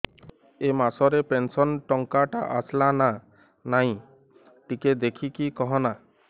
ଏ ମାସ ରେ ପେନସନ ଟଙ୍କା ଟା ଆସଲା ନା ନାଇଁ ଟିକେ ଦେଖିକି କହନା